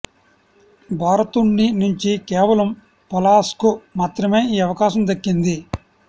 భారత్ను నుంచి కేవలం పలాశ్కు మాత్రమే ఈ అవకాశం దక్కింది